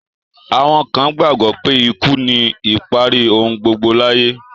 Àwọn kan gbàgbọ́ pé ikú ni ìparí ohun gbogbo láyé.